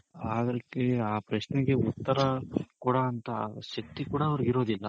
ಅದಕ್ಕೆ ಆ ಪ್ರಶ್ನೆಗೆ ಉತ್ತರ ಕೊಡೊವಂತ ಶಕ್ತಿ ಕೂಡ ಅವ್ರುಗ್ ಇರೋದಿಲ್ಲ